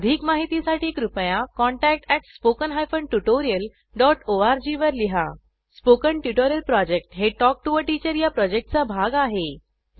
अधिक माहितीसाठी कृपया contact at spoken hyphen tutorial dot O R G वर लिहा स्पोकन ट्युटोरियल प्रॉजेक्ट हे टॉक टू टीचर या प्रॉजेक्टचा भाग आहे